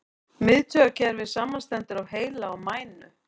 Miðtaugakerfið samanstendur af heila og mænu.